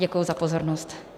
Děkuji za pozornost.